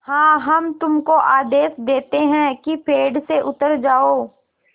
हाँ हम तुमको आदेश देते हैं कि पेड़ से उतर जाओ